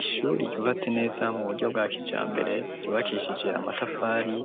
Ishuri ryubatse neza mu buryo bwa kijambere ryubakishije amatafari